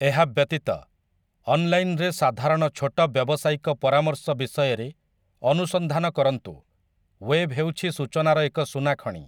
ଏହା ବ୍ୟତୀତ, ଅନଲାଇନ୍‌‌ରେ ସାଧାରଣ ଛୋଟ ବ୍ୟବସାୟିକ ପରାମର୍ଶ ବିଷୟରେ ଅନୁସନ୍ଧାନ କରନ୍ତୁ; ୱେବ୍‌ ହେଉଛି ସୂଚନାର ଏକ ସୁନାଖଣି ।